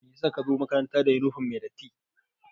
Meyasa ka zo makaranta da yunifom mai datti?